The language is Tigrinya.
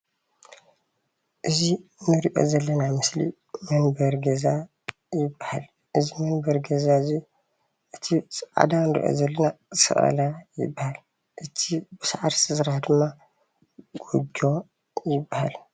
እዚ እንሪኦ ዘለና ምስሊ መንበሪ ገዛ ይበሃል፣ እዚ መንበሪ ገዛ እዙይ እቲ ፃዕዳ እንሪኦ ዘለና ሰቀላ ይባሃል፣ እቲ ብሳዕሪ ዝተሰርሐ ድማ ጎጆ ይባሃል፡፡